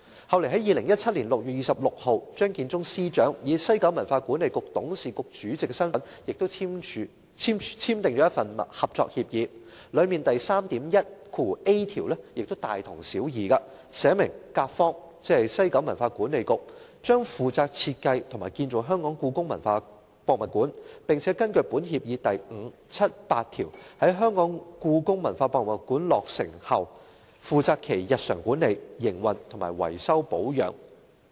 後來在2017年6月26日，張建宗司長以西九管理局董事局主席的身份，亦簽訂了一份合作協議，當中第 3.1a 條亦大同小異，寫明"甲方"——即西九管理局——"將負責設計和建造香港故宮文化博物館，並根據本協議第5、7及8條，在香港故宮文化博物館落成後負責其日常管理、營運和維修保養"。